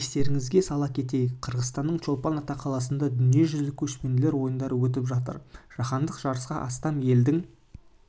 естеріңізге сала кетейік қырғызстанның чолпан ата қаласында дүниежүзілік көшпенділер ойындары өтіп жатыр жаһандық жарысқа астам елдің